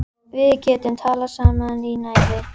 Við getum talað saman í næði